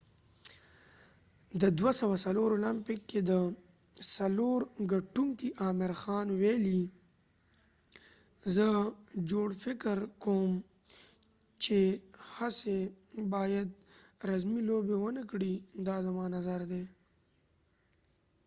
د 2004 اولمپک کې د سلور ګټونکې عامر خان ويلی : زه ژور فکر کوم چې ښځی باید رزمی لوبی ونه کړي، دا زما نظر ده